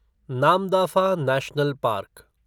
Namdapha national park